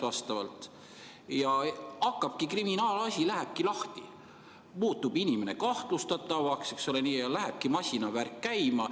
Lähebki lahti kriminaalasi, inimene muutub kahtlustatavaks, masinavärk läheb käima.